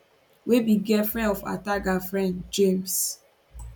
wey be di girlfriend of ataga friend james